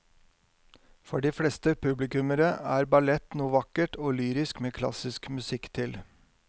For de fleste publikummere er ballett noe vakkert og lyrisk med klassisk musikk til.